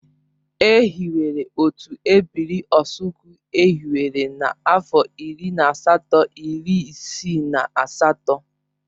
E hiwere otu ebiri Osukwu e hiwere na-afo iri na asatọ iri isii na asatọ.